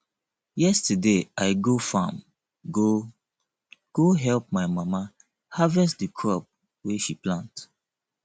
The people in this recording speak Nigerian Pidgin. yesterday i go farm go go help my mama harvest the crop wey she plant